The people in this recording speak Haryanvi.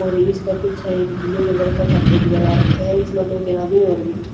और इसके पीछह एक ब्ल्यू कलर का शटर भी लगा राख्या ह इसमें दो तीन आदमी और भी हं ।